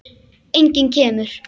Enginn kemur.